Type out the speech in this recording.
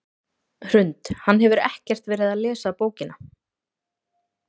Hrund: Hann hefur ekkert verið að lesa bókina?